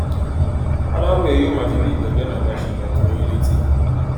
aláròye yóò máa fi bí ìgbẹjọ náà bá ṣe lọ tó yín létí